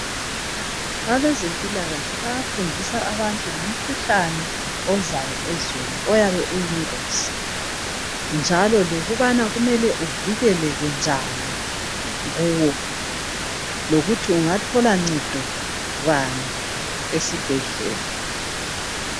Abezempilakahle bayafundisa abantu ngomkhuhlane ozayo ezweni ayabe uyingozi njalo lokubana kumele uvikekeleke njani lokuthi ungathola ncedo bani esibhedlela.